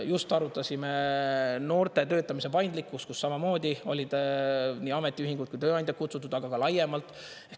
Just arutasime noorte töötamise paindlikkust, kuhu samamoodi olid nii ametiühingud kui tööandjad kutsutud, aga ka laiemalt.